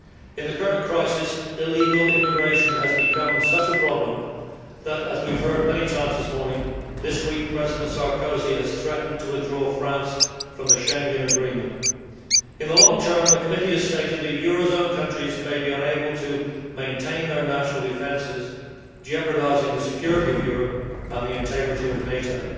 In the current crisis illegal immigration has become such a problem that as we have heard many times this morning this week, President Sarkozy has threatened to withdraw France from the Schengen Agreement. In the long term, the committee has stated that eurozone countries may be unable to maintain their national defences, jeopardising the security of Europe and the integrity of NATO.